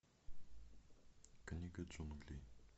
книга джунглей